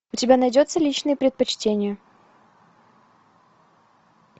у тебя найдется личные предпочтения